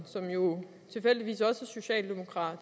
som jo tilfældigvis også er socialdemokrat